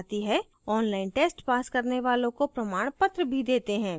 online test pass करने वालों को प्रमाणपत्र भी देते हैं